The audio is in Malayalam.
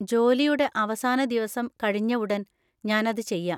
ജോലിയുടെ അവസാന ദിവസം കഴിഞ്ഞ ഉടൻ ഞാൻ അത് .ചെയ്യാം.